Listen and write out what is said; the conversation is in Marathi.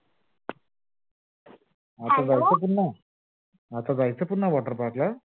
hello आता जायचं पुन्हा? आता जायचं पुन्हा water park ला?